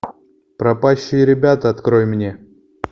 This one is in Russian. пропащие ребята открой мне